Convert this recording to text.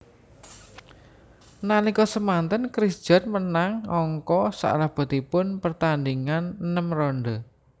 Nalika semanten Chris John menang angka salebetipun pertandhingan enem ronde